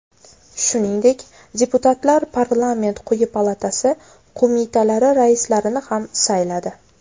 Shuningdek, deputatlar parlament quyi palatasi qo‘mitalari raislarini ham sayladi.